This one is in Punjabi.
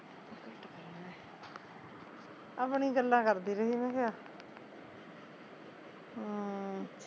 ਆਪਣੀ ਗੱਲਾਂ ਕਰਦੀ ਰਹੀ ਮੈਂ ਕਿਹਾਂ ਹਮ